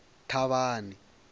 thavhani